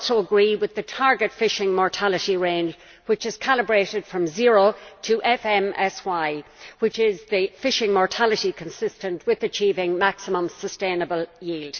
I also agree with the target fishing mortality range, which is calibrated from zero to FMSY, which is the fishing mortality consistent with achieving maximum sustainable yield.